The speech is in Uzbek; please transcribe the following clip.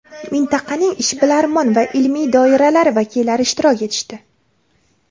mintaqaning ishbilarmon va ilmiy doiralari vakillari ishtirok etishdi.